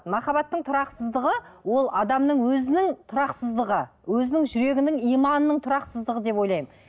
махаббаттың тұрақсыздығы ол адамның өзінің тұрақсыздығы өзінің жүрегінің иманының тұрақсыздығы деп ойлаймын